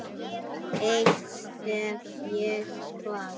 Eitt stef ég kvað.